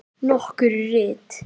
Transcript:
Nokkur rit